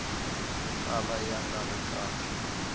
kala ya nga ri kahle